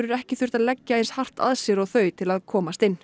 ekki þurft að leggja eins hart að sér og þau til að komast inn